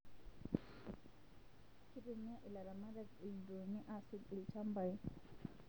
Kitumia ilaramatak ildroni asuj ilchambai